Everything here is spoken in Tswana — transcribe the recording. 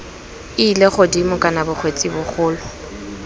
ile godimo kana bongwetsi bogolo